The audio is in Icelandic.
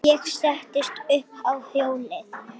Ég settist upp á hjólið.